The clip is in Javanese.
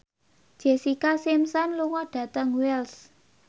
Jessica Simpson lunga dhateng Wells